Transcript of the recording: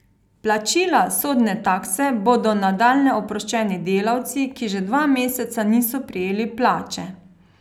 Plačila sodne takse bodo nadalje oproščeni delavci, ki že dva meseca niso prejeli plače.